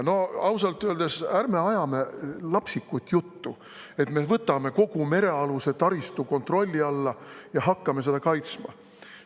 No ausalt öeldes, ärme ajame lapsikut juttu, et me võtame kogu merealuse taristu kontrolli alla ja hakkame seda kaitsma.